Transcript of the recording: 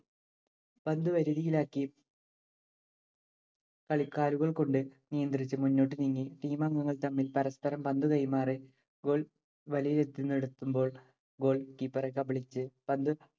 പന്തു വരുതിയിലാക്കി കാലുകൾ കൊണ്ടു നിയന്ത്രിച്ച്‌ മുന്നോട്ടു നീങ്ങി team അംഗങ്ങള്‍ തമ്മിൽ പരസ്പരം പന്തു കൈമാറി goal വലയത്തിനടുത്തെത്തുമ്പോൾ goal keeper എ കബളിപ്പിച്ച്‌